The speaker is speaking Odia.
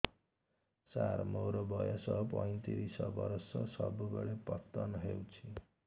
ସାର ମୋର ବୟସ ପୈତିରିଶ ବର୍ଷ ସବୁବେଳେ ପତନ ହେଉଛି